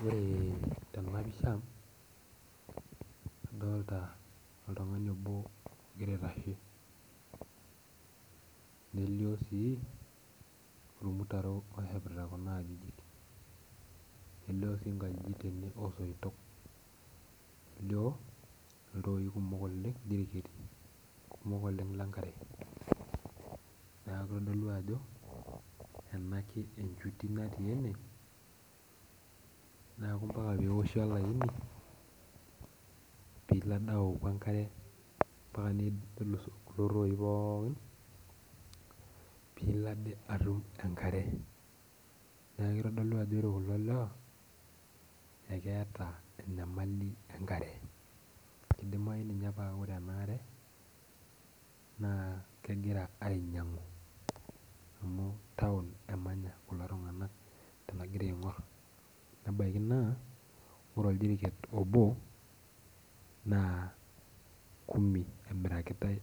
Ore tena pisha adolita oltungani obo ogira aitashe ,nelio sii ormutarok oshepita Kuna ajijik, elio sii nkajijik tene osoitok ,elio sii ltooi kumok oleng lenkare ,neeku kitodolu ajo enkae enduty natii ene neeku mpaka pee eoshi olaini pilo ade aoju enkare, mpaka nelus kulo tooi pookin pee ilo ade atum enkare, neeku kitodolu ajo ore kulo lewa, eketa enyamali enkare keidimayu ninye naa ore enaare naa kegira ainyangu amu taon emanyata kulo tunganak tenagira aingor nebaiki naa ore oljeriket obo naa kumi emirakitae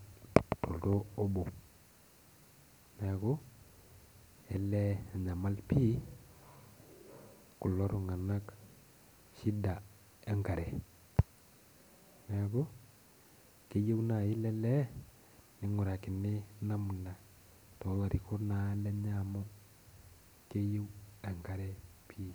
oltoo obo. neeku enyamali pii kulo tunganak shida enkare ,neeku keyieu naaji ele lee ningurakini namuna toolarikok naa lenye amu keyieu enkare pi.